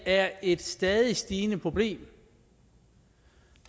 er et stadigt stigende problem